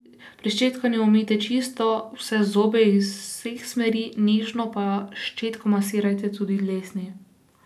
Pri ščetkanju umijte čisto vse zobe iz vseh smeri, nežno pa s ščetko masirajte tudi dlesni.